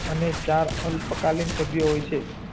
અને ચાર અલ્પકાલીન સભ્ય હોય છે